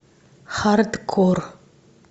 хардкор